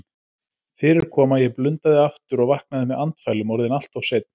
Fyrir kom að ég blundaði aftur og vaknaði með andfælum, orðinn alltof seinn.